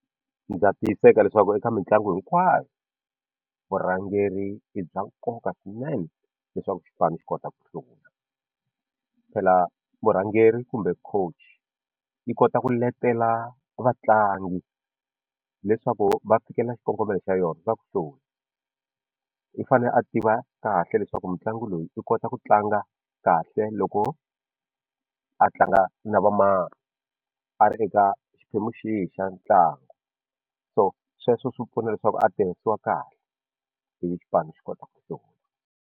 Ndza tiyiseka leswaku eka mitlangu hinkwayo vurhangeri i bya nkoka swinene leswaku xipano xi kota ku hlula phela murhangeri kumbe coach yi kota ku letela vatlangi leswaku va fikelela xikongomelo xa yona i fane a tiva kahle leswaku mutlangi loyi i kota ku tlanga kahle loko a tlanga na va mani a ri eka xiphemu xihi xa ntlangu so sweswo swi pfuna leswaku a tirhisiwa kahle ivi xipano xi kota ku hlula.